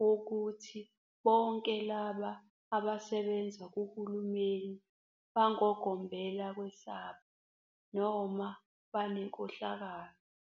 wokuthi bonke labo abasebenza kuhulumeni bangogombela kwesabo noma banenkohlakalo.